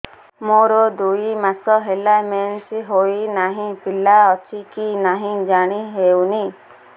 ମୋର ଦୁଇ ମାସ ହେଲା ମେନ୍ସେସ ହୋଇ ନାହିଁ ପିଲା ଅଛି କି ନାହିଁ ଜାଣି ହେଉନି